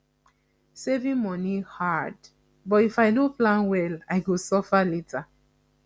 saving money hard but if i no plan well i go suffer later